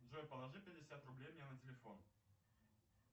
джой положи пятьдесят рублей мне на телефон